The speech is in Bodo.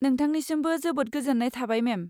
नोंथांनिसिमबो जोबोद गोजोन्नाय थाबाय मेम।